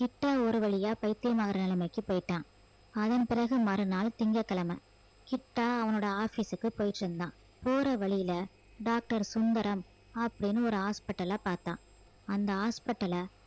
கிட்டா ஒரு வழியா பைத்தியம் ஆகுற நிலைமைக்கு போயிட்டான் அதன் பிறகு மறுநாள் திங்கட்கிழமை கிட்டா அவனோட office க்கு போயிட்டு இருந்தான் போற வழியில doctor சுந்தரம் அப்படின்னு ஒரு hospital அ பார்த்தான் அந்த hospital அ